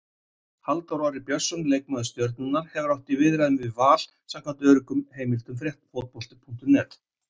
Halldór Orri Björnsson, leikmaður Stjörnunnar, hefur átt í viðræðum við Val samkvæmt öruggum heimildum Fótbolta.net.